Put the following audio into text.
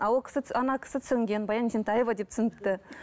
ал ол кісі ана кісі түсінген баян есентаева деп түсініпті